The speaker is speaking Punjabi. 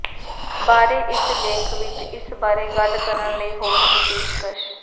ਬਾਰੇ ਇਸ ਲੇਖ ਵਿਚ ਇਸ ਬਾਰੇ ਗੱਲ ਕਰਨ ਲਈ ਹੋਰ ਦੀ ਪੇਸ਼ਕਸ਼